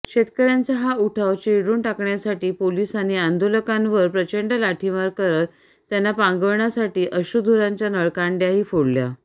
शेतकऱ्यांचा हा उठाव चिरडून टाकण्यासाठी पोलिसांनी आंदोलकांवर प्रचंड लाठीमार करत त्यांना पांगवण्यासाठी अश्रूधुराच्या नळकांड्याही फोडल्या